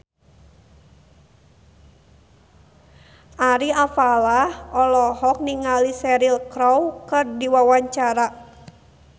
Ari Alfalah olohok ningali Cheryl Crow keur diwawancara